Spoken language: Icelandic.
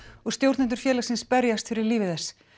og stjórnendur félagsins berjast fyrir lífi þess